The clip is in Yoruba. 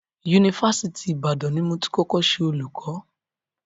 Yunifásitì Ìbàdàn ni mo ti kọ́kọ́ ṣe olùkọ́.